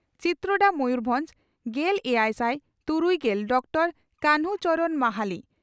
ᱪᱤᱛᱨᱚᱰᱟ ᱢᱚᱭᱩᱨᱵᱷᱚᱸᱡᱽ ᱾ᱜᱮᱞ ᱮᱭᱟᱭᱥᱟᱭ ᱛᱩᱨᱩᱭᱜᱮᱞ ᱰᱚᱠᱴᱚᱨ ᱠᱟᱱᱦᱩ ᱪᱚᱨᱚᱬ ᱢᱟᱦᱟᱞᱤ